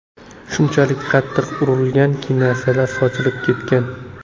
Shunchalik qattiq urilganki, narsalari sochilib ketgan.